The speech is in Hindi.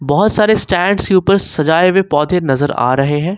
बहुत सारे स्टैंड के ऊपर सजाए हुए पौधे नजर आ रहे हैं।